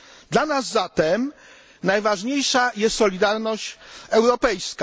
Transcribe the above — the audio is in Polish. Dla nas zatem najważniejsza jest solidarność europejska.